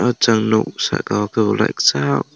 chung nug saka o ke ulikesa.